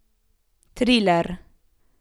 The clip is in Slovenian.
Triler.